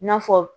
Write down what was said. I n'a fɔ